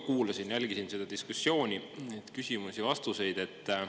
Kuulasin ja jälgisin seda diskussiooni, neid küsimusi ja vastuseid.